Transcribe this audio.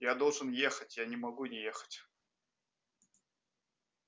я должен ехать я не могу не ехать